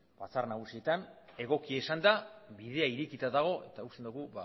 batzar nagusietan egokia izan da bidea irekita dago eta uste dugu